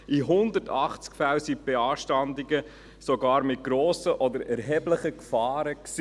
In 180 Fällen waren die Beanstandungen sogar mit grossen oder erheblichen Gefahren verbunden.